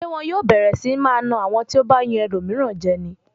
Ṣé wọn yóò bẹ̀rẹ̀ sí máa na àwọn tí ó bá yan ẹlòmíràn jẹ ni?